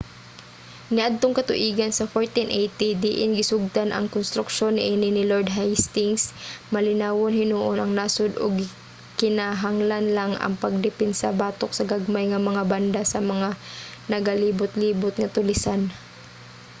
niadtong katuigan sa 1480 diin gisugdan ang konstruksyon niini ni lord hastings malinawon hinuon ang nasod ug gikinahanglan lang ang pagdepensa batok sa gagmay nga mga banda sa mga nagalibotlibot nga tulisan